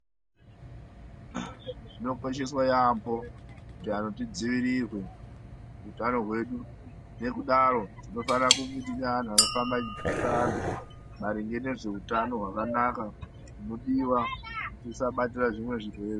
Zvikosheswa yambo kuti anhu tidziirirwe utano wedu nekudaro tinofana kuve nevanhu vanofamba vachdzidzisa vanhu maringe nezveutano wakanaka hunodiwa tisazobatira zvimwe zvirwere.